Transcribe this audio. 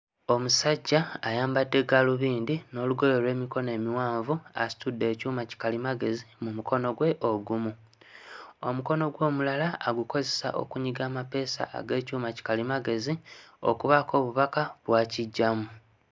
Omusajja ayambadde gaalubindi n'olugoye olw'emikono emiwanvu asitudde ekyuma kikalimagezi mu mukono gwe ogumu. Omukono gwe omulala agukozesa okunyiga amapeesa ag'ekyuma kikalimagezi okubaako obubaka bw'akiggyamu.